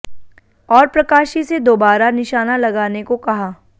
और प्रकाशी से दोबारा निशाना लगाने को कहा